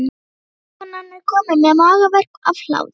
Vinkonan er komin með magaverk af hlátri.